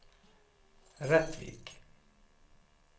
Rättvik